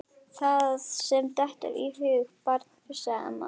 Það sem þér dettur í hug barn fussaði amma.